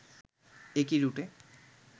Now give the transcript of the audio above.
একই রুটে